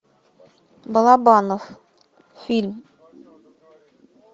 балабанов фильм